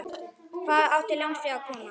Hvaðan átti lánsfé að koma?